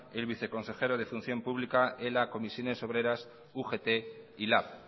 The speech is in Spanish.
el viceconsejero de función pública ela comisiones obreras ugt y lab